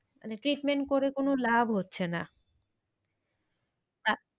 মানে treatment করে কোনো লাভ হচ্ছে না।